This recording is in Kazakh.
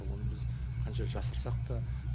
оны біз қанша жасырсақ та